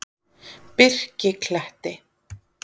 Birkikletti